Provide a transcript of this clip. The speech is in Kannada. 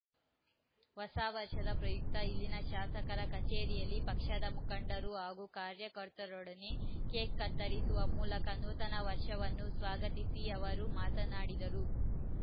ಹೊಸ ವರ್ಷದ ಪ್ರಯುಕ್ತ ಇಲ್ಲಿನ ಶಾಸಕರ ಕಚೇರಿಯಲ್ಲಿ ಪಕ್ಷದ ಮುಖಂಡರು ಹಾಗೂ ಕಾರ್ಯಕರ್ತರೊಡನೆ ಕೇಕ್‌ ಕತ್ತರಿಸುವ ಮೂಲಕ ನೂತನ ವರ್ಷವನ್ನು ಸ್ವಾಗತಿಸಿ ಅವರು ಮಾತನಾಡಿದರು